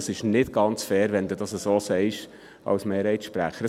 Ich finde es nicht ganz fair, wenn du das als Mehrheitssprecher so sagst.